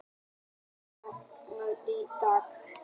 Alva, mun rigna í dag?